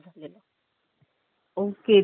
Okay तिथे CCTV नव्हते काम?